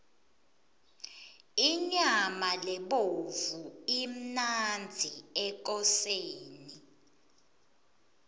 inyama lebovu imnandzi ekoseni